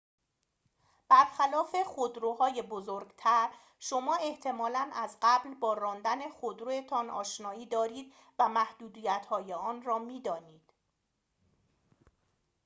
برخلاف خودروهای بزرگتر شما احتمالاً از قبل با راندن خودروتان آشنایی دارید و محدودیت‌های آن را می‌دانید